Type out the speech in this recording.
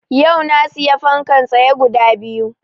Yau na siya fankan tsaye guda biyu